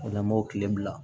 O la n b'o tile bila